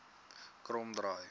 kromdraai